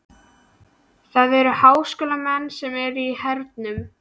Það eru háskólamenn sem eru í hernum.